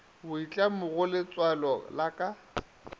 boitlamo go letswalo la ka